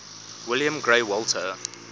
william grey walter